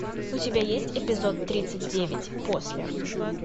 у тебя есть эпизод тридцать девять после